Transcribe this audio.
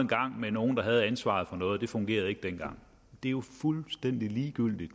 med nogen der havde ansvaret for noget og det fungerede ikke dengang det er jo fuldstændig ligegyldigt